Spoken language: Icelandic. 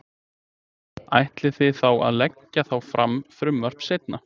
Ætlið þið þá að leggja þá fram frumvarp seinna?